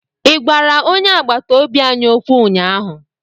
ị gwara onye agbata obi anyị okwu ụnyaahụ?